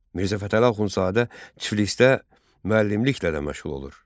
Mirzə Fətəli Axundzadə Tiflisdə müəllimliklə də məşğul olur.